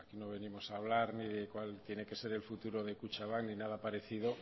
no venimos a hablar ni de cuál tiene que ser el futuro de kutxabank ni nada parecido